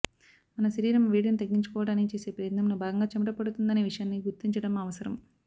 మన శరీరం వేడిని తగ్గించుకోవటానికి చేసే ప్రయత్నంలో భాగంగా చెమట పడుతుందనే విషయాన్ని గుర్తించటం అవసరం